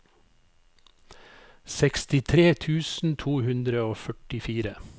sekstitre tusen to hundre og førtifire